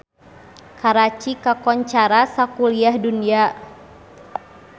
Karachi kakoncara sakuliah dunya